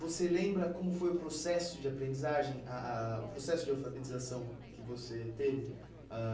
Você lembra como foi o processo de aprendizagem, ah ah o processo de alfabetização que você teve? Ãh